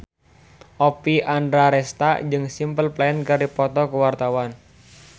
Oppie Andaresta jeung Simple Plan keur dipoto ku wartawan